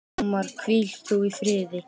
Ómar, hvíl þú í friði.